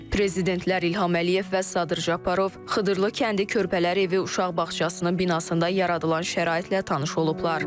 Prezidentlər İlham Əliyev və Sadır Japarov Xıdırlı kəndi Körpələr evi uşaq bağçasının binasında yaradılan şəraitlə tanış olublar.